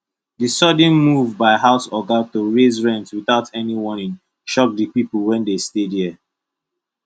the sudden move by house oga to raise rent without any warning shock the people wey dey stay there